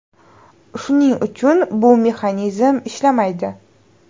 Shuning uchun bu mexanizm ishlamaydi.